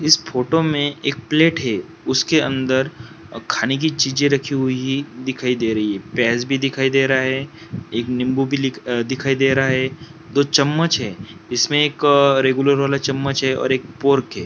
इस फोटो में एक प्लेट है उसके अंदर खाने की चीजे रखी हुई है दिखाई दे रही है प्याज भी दिखाई दे रहा है एक नींबू भी दिखाई दे रहा है दो चम्मच है इसमें एक रेगुलर वाला चम्मच है और फोर्क एक है।